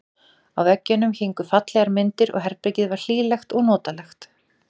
Á veggjunum héngu fallegar myndir og herbergið var hlýlegt og fallegt.